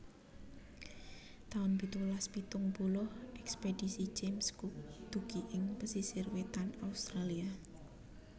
taun pitulas pitung puluh Ekspedisi James Cook dugi ing pesisir wétan Australia